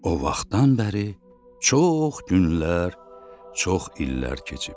O vaxtdan bəri çox günlər, çox illər keçib.